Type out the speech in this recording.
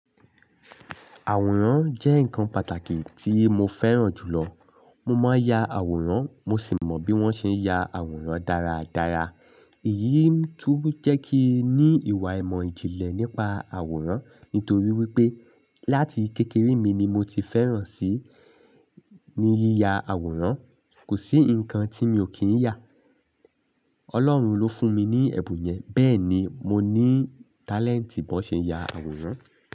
Àwòrán jẹ́ ǹkan pàtàkì tí mo fẹ́ràn jùlọ. Mo máa ń ya àwòrán, mo sì mọ bí wọ́n ṣe ń ya àwòrán dáradára. Èyí tún jẹ́ kí ní ìwà ìmọ̀ ìjìnlẹ̀ nípa àwòrán. Nítorí wípé láti kékeré mi ni mo ti fẹ́ràn sí ní yíya àwòrán. Kò sí ǹkan tí mi ò kí ń yà. Ọlọ́run ló fún mi ní ẹ̀bùn yẹn, bẹ́ẹ̀ ni mo ní tálẹ́ǹtì bó ṣe ya àwòrán.